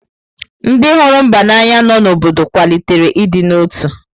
Ndị hụrụ mba n’anya nọ n’obodo kwalitere ịdị n’otu.